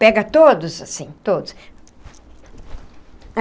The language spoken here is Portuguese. Pega todos assim, todos.